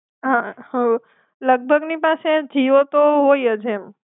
હા હ. લગ ભગની પાસે જીઓતો હોયજ એમ.